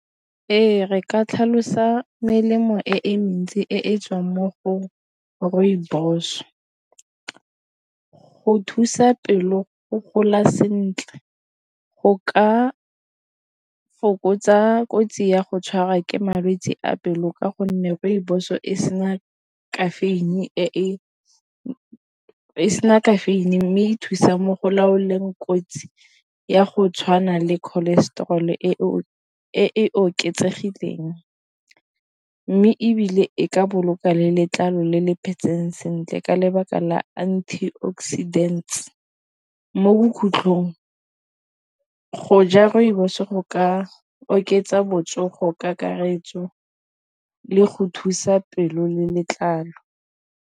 Ee, re ka tlhalosa melemo e mentsi e tswang mo go rooibos. Go thusa pelo go gola sentle go ka fokotsa kotsi ya go tshwarwa ke malwetse a pelo ka go nne rooibos e sena caffeine mme e thusa mo go laoleng kotsi ya go tshwana le cholestrol e e oketsegileng mme ebile e ka boloka le letlalo le le phetseng sentle ka lebaka la antioxidants mo bokhutlhong go ja rooibos go ka oketsa botsogo kakaretso le go thusa pelo le letlalo.